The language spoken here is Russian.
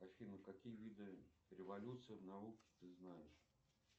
афина какие виды революции в науке ты знаешь